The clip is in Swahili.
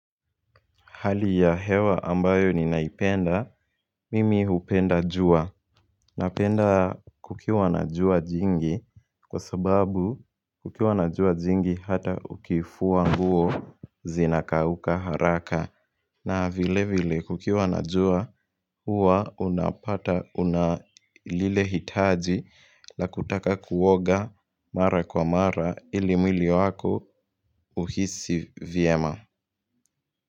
Hali ya hewa ambayo ni naipenda, mimi upenda jua. Napenda kukiwa na jua jingi kwa sababu kukiwa na jua jingi hata ukifua nguo zinakauka haraka. Na vile vile kukiwa na jua uwa unapata unalile hitaji la kutaka kuoga mara kwa mara ili mwili wako uhisi vyema.